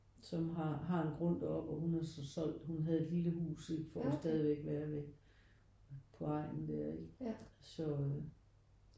Som har har en grund deroppe og hun har så solgt hun havde et lille hus ikke for hun stadigvæk være ved på egnen der ikke så